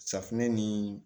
Safunɛ ni